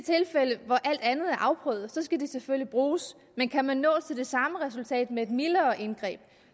afprøvet skal de selvfølgelig bruges men kan man nå til det samme resultat med et mildere indgreb